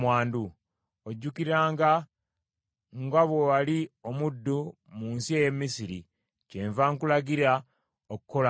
Ojjukiranga nga bwe wali omuddu mu nsi ey’e Misiri; kyenva nkulagira okukolanga bw’otyo.